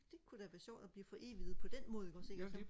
det kunne da være sjovt at blive foreviget på den måde ikke også og så